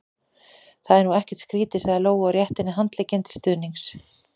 Það er nú ekkert skrítið, sagði Lóa og rétti henni handlegginn til stuðnings.